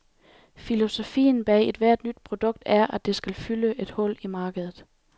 Filosofien bag ethvert nyt produkt er, at det skal fylde et hul i markedet.